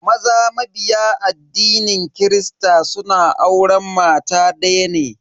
Maza mabiya addinin kirista suna auren mata daya ne.